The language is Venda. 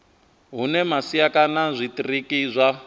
hune masia kana zwitiriki zwa